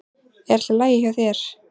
Er allt í lagi hjá þér?